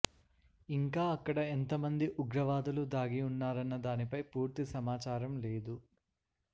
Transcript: ఇంకా అక్కడ ఎంత మంది ఉగ్రవాదులు దాగి ఉన్నారన్న దానిపై పూర్తి సమాచారం లేదు